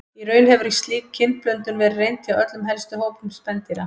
Í raun hefur slík kynblöndun verið reynd hjá öllum helstu hópum spendýra.